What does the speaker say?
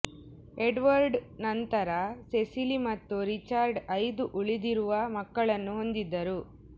Edward ನಂತರ Cecily ಮತ್ತು Richard ಐದು ಉಳಿದಿರುವ ಮಕ್ಕಳನ್ನು ಹೊಂದಿದ್ದರು